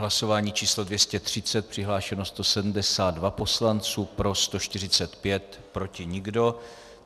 Hlasování číslo 230, přihlášeno 172 poslanců, pro 145, proti nikdo.